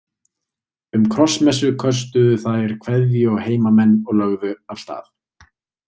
Um krossmessu köstuðu þær kveðju á heimamenn og lögðu af stað.